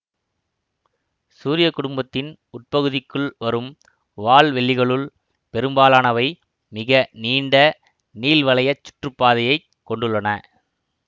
சூரிய குடும்பத்தின் உட்பகுதிக்குள் வரும் வால்வெள்ளிகளுள் பெரும்பாலானவை மிக நீண்ட நீள்வளையச் சுற்றுப்பாதையைக் கொண்டுள்ளன